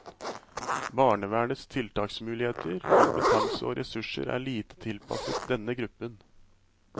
Barnevernets tiltaksmuligheter, kompetanse og ressurser er lite tilpasset denne gruppen.